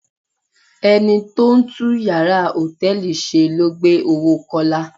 Ẹni tó ń tún yàrá hòtẹ́ẹ̀lì ṣe ló gbé owó Kọ́lá.